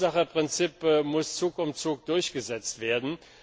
Das Verursacherprinzip muss Zug um Zug durchgesetzt werden.